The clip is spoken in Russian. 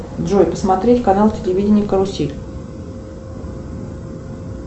джой посмотреть канал телевидения карусель